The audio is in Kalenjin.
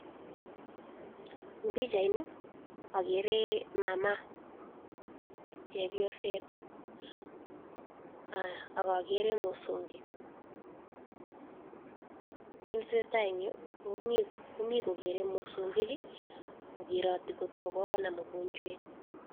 En pichait, mi chepyoset, ak mosongik. Kere mosongik kot koge nam mogonjwet.